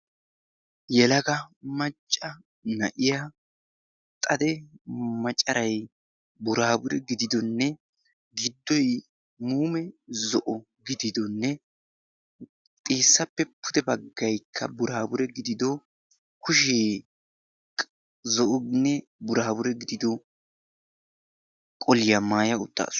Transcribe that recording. yelaga macca na7iya xade maccaray buraabure gididonne giddoy muume zo7o gididonne xeessappe pude baggaykka buraabure gidido kushee zo7onne buraabure gidido qoliyaa maaya uttaasu.